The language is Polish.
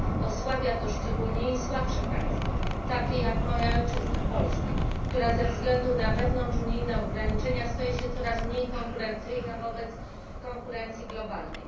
Osłabia to szczególnie słabsze państwa, takie jak moja ojczyzna Polska, która ze względu na wewnątrzunijne ograniczenia staje się coraz mniej konkurencyjna wobec konkurencji globalnej.